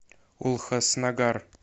улхаснагар